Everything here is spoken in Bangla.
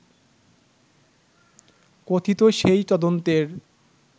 কথিত সেই তদন্তের